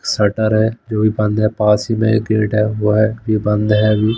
Shutter है जो अभी बंद है पास ही में एक हुआ है ये बंद है अभी।